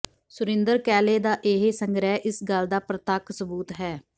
ਸੁਰਿੰਦਰ ਕੈਲੇ ਦਾ ਇਹ ਸੰਗ੍ਰਹਿ ਇਸ ਗੱਲ ਦਾ ਪ੍ਰਤੱਖ ਸਬੂਤ ਹੈ